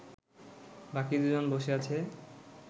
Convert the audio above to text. বাকি দুজন বসে আছে